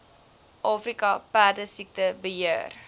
afrika perdesiekte beheer